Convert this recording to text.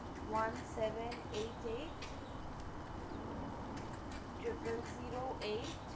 One seven eight eight triple zero eight.